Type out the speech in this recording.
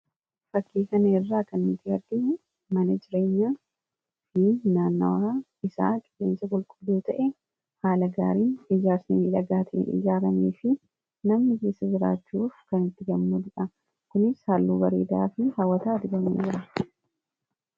fakkii kanerraa kan miti arga maanejireenyaa fi naanawaa isaa qigeensa qulqubluu ta'e haala gaariin ijaarsamii dhagaatii ijaaramii fi namni keessa jiraachuuf kan itti gommu dudha kunis haalluu bariidaa fi haawataa dibamuu jira